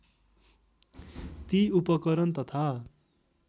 ती उपकरण तथा